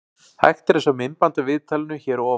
Hægt er að sjá myndband af viðtalinu hér að ofan.